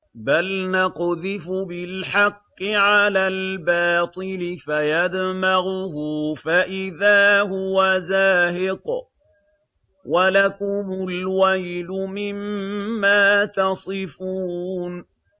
بَلْ نَقْذِفُ بِالْحَقِّ عَلَى الْبَاطِلِ فَيَدْمَغُهُ فَإِذَا هُوَ زَاهِقٌ ۚ وَلَكُمُ الْوَيْلُ مِمَّا تَصِفُونَ